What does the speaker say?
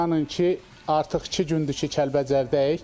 İnanın ki, artıq iki gündür ki, Kəlbəcərdəyik.